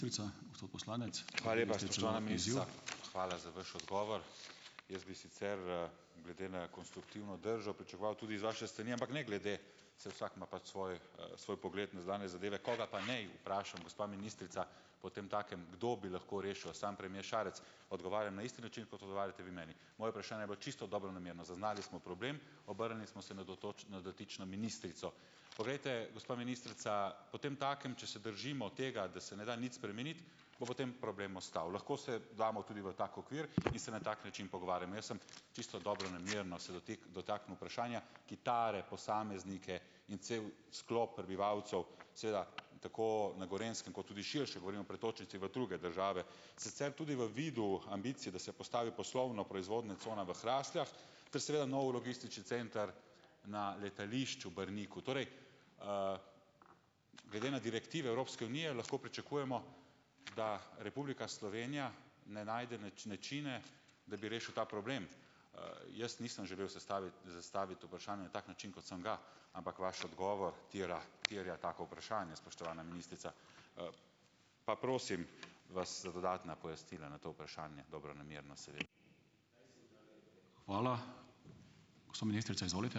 Hvala za vaš odgovor. Jaz bi sicer, glede na konstruktivno držo pričakoval tudi z vaše strani, ampak ne glede, saj vsak ima pač svoj, svoj pogled na zunanje zadeve, koga pa naj vprašam, gospa ministrica, potemtakem, kdo bi lahko rešil. Samo premier Šarec odgovarja na isti način, kot odgovarjate vi meni. Moje vprašanje je bilo čisto dobronamerno. Zaznali smo problem, obrnili smo se na na dotično ministrico. Poglejte, gospa ministrica, potemtakem, če se držimo tega, da se ne da nič spremeniti, bo potem problem ostal. Lahko se damo tudi v tak okvir in se na tak način pogovarjamo. Jaz sem čisto dobronamerno se dotaknil vprašanja, ki tare posameznike in cel sklop prebivalcev seveda tako na Gorenjskem kot tudi širše, govorimo o pretočnici v druge države, sicer tudi v vidu ambicije, da se postavi poslovno-proizvodna cona v Hrastjah ter seveda nov logistični center na letališču Brniku. Torej, glede na direktive Evropske unije lahko pričakujemo, da Republika Slovenija ne najde načina, da bi rešil ta problem. Jaz nisem želel zastaviti vprašanje na tak način, kot sem ga, ampak vaš odgovor terja tako vprašanje, spoštovana ministrica. pa prosim vas za dodatna pojasnila na to vprašanje dobronamerno.